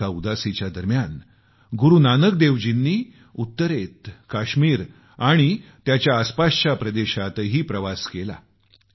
एका उदासीच्या दरम्यान गुरूनानकजींनी उत्तरेत काश्मीर आणि त्यांच्या आसपासच्या प्रदेशातही प्रवास केला